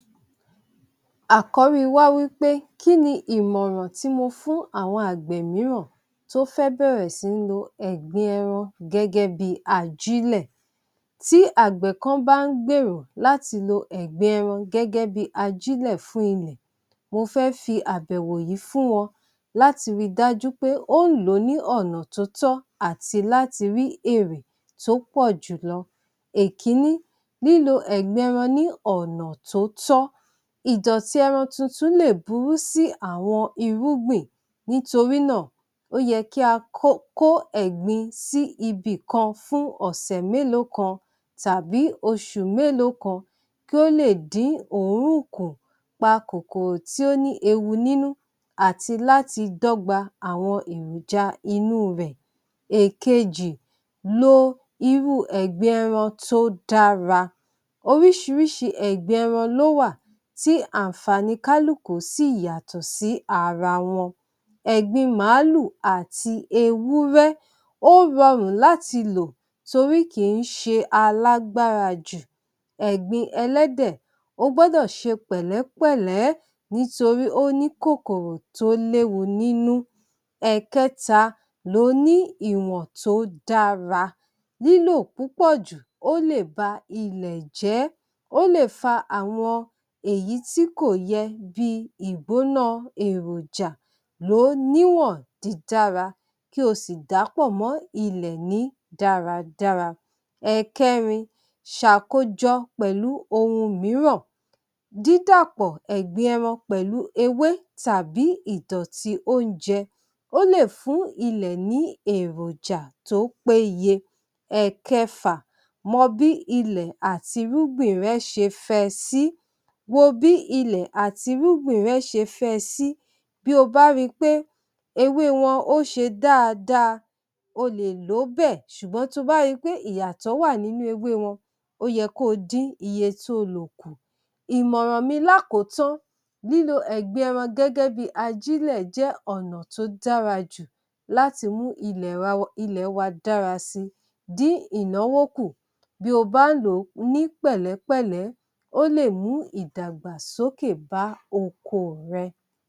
Àkọ́rí wá wí pé kí ni ìmọ̀ràn tí mo fún àwọn àgbẹ̀ mìíràn tó fẹ́ bẹ̀rẹ̀ sí ń lo ẹ̀gbin ẹran gẹ́gẹ́ bí i ajílẹ̀? Tí àgbẹ̀ kan bá ń gbèrò láti lo ẹ̀gbin ẹran gẹ́gẹ́ bí i ajílẹ̀ fún ilẹ̀, mo fẹ́ fi àbẹ̀wò yìí fún wọn láti ri dájú pé ó ń lò ó ní ọ̀nà tó tọ́ àti láti rí èrè tó pọ̀ jù lọ. Èkiní, lílo ẹ̀gbin ẹran ní ọ̀nà tó tọ́, ìdọ̀tí ẹran tuntun lè burú sí àwọn irúgbìn nítorí náà, ó yẹ kí a kó kó ẹ̀gbin sí ibìkan fún ọ̀sẹ̀ mélòó kan tàbí oṣù mélòó kan kí ó lè dín òórùn kù, pa kòkòrò tí ó ní ewu nínú àti láti dọ́gba àwọn èròja inú rẹ̀. Èkejì, lo irú ẹ̀gbin ẹran tó dára, oríṣiríṣi ẹ̀gbin ẹran ló wà tí àǹfàní kálùkù sì yàtọ̀ sí ara wọn. ẹ̀gbin màálù àti ewúrẹ́ ó rọrùn láti lò torí kì í ṣe alágbára jù. ẹ̀gbin ẹlẹ́dẹ̀, o gbọ́dọ̀ ṣe pẹ̀lẹ́pẹ̀lẹ́ nítorí ó ní kòkòrò tó léwu nínú. ẹ̀kẹta, lò ó ní ìwọn tó dára lílò púpọ̀ jù ó lè ba ilẹ̀ jẹ́, ó lè fa àwọn èyí tí kò yẹ bí i ìgbóná èròjà, lòó níwọ̀n dídára kí o sì dà á pọ̀ mọ́ ní ilẹ̀ ní dáradára. ẹ̀kẹrin, ṣàkójọ pẹ̀lú ohun mìíràn, dídàpọ̀ ẹ̀gbin ẹran pẹ̀lú ewé tàbí ìdọ̀tí oúnjẹ ó lè fún ilẹ̀ ní èròjà tó péye. ẹ̀kẹfà, mọ bí ilẹ̀ àti irúgbìn rẹ ṣe fẹ sí, wo bí ilẹ̀ àti irúgbìn rẹ ṣe fẹ sí. Bí o bá ri pé ewé wọn ó ṣe dáadáa ó lè lò ó bẹ́ẹ̀ ṣùgbọ́n bí ó bá ri pé ìyàtọ̀ wà nínú ewé wọn ó yẹ kó dín iye tó lò kù. Ìmọ̀ràn mi lákòótán, lílo ẹ̀gbin ẹran gẹ́gẹ́ bí i ajílẹ̀ jẹ́ ọ̀nà tó dára jù láti mú ilẹ̀ wa dára si, dín ìnáwó kù bí o bá ń lò ó ní pẹ̀lẹ́pẹ̀lé ó lè mú ìdàgbàsókè bá oko rẹ.